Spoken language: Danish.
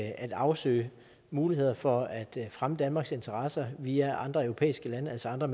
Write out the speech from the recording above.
at afsøge muligheder for at fremme danmarks interesser via andre europæiske lande altså andre